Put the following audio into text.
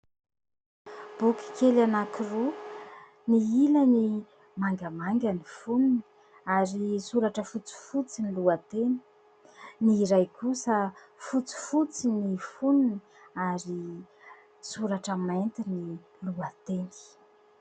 Boky kely anankiroa ny ilany mangamanga ny foniny ary soratra fotsifotsy ny lohateny ; ny iray kosa fotsifotsy ny foniny ary soratra mainty ny lohateny.